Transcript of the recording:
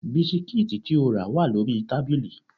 Bisikíìtì tí o rà wà lórí tábìlì